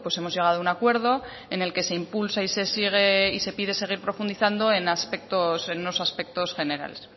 hemos llegado a un acuerdo en el que se impulsa y se sigue y se pide seguir profundizando en aspectos en unos aspectos generales